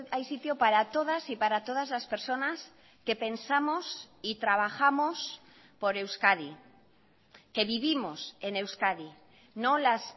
hay sitio para todas y para todas las personas que pensamos y trabajamos por euskadi que vivimos en euskadi no las